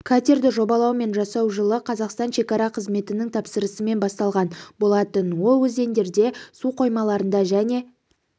катерді жобалау мен жасау жылы қазақстан шекара қызметінің тапсырысымен басталған болатын ол өзендерде су қоймаларында және